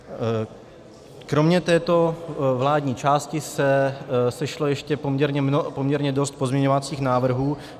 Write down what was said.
Kromě této vládní části se sešlo ještě poměrně dost pozměňovacích návrhů.